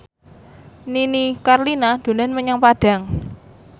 Nini Carlina dolan menyang Padang